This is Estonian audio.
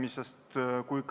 Aitäh!